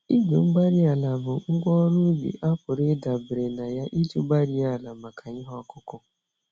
Igwe-mgbárí-ala bụ ngwá ọrụ ubi a pụrụ ịdabere na ya iji gbarie àlà maka ihe okụkụ